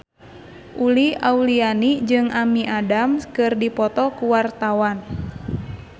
Uli Auliani jeung Amy Adams keur dipoto ku wartawan